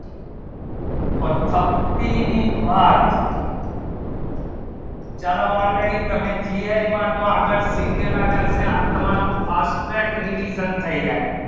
તો અશક્તિ ની બળ ચલો already તમે B ed માં તો આગળ શિકેલા શે આ તમારો fast tag revision થઈ જાય